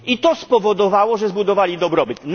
I to spowodowało, że zbudowali dobrobyt.